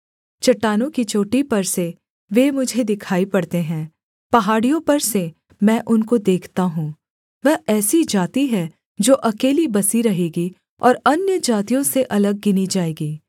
चट्टानों की चोटी पर से वे मुझे दिखाई पड़ते हैं पहाड़ियों पर से मैं उनको देखता हूँ वह ऐसी जाति है जो अकेली बसी रहेगी और अन्यजातियों से अलग गिनी जाएगी